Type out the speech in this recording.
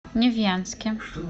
невьянске